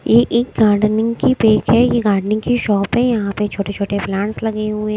ये एक गार्डनिंग की पेक है गार्डनिंग की शॉप है यहां पे छोटे-छोटे प्लांट्स लगे हुए हैं।